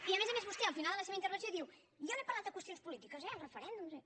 i a més a més vostè al final de la seva intervenció diu jo no he parlat de qüestions polítiques eh els referèndums i